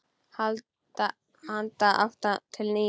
Handa átta til tíu